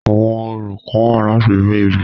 Àwọn orò kán wà láti re ibi.